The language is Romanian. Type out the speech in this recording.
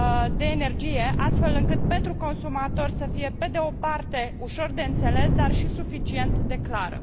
de energie, astfel încât pentru consumatori să fie, pe de o parte ușor de înțeles dar și suficient de clară.